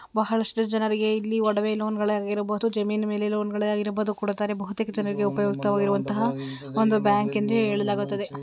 ಬಹಳಷ್ಟು ಜನರಿಗೆ ಇಲ್ಲಿ ಒಡವೆ ಲೋನ್ ಗಳು ಆಗಿರಬಹುದು ಜಮೀನು ಲೋನ್ ಗಳೇ ಆಗಿರಬಹುದು ಕೊಡ್ತಾರೆ ಬಹುತೇಕ ಜನರಿಗೆ ಉಪಯುಕ್ತ ವಾಗಿರುವಂತಹ ಒಂದು ಬ್ಯಾಂಕ್ ಎಂದು ಹೇಳಲಾಗುತ್ತದೆ.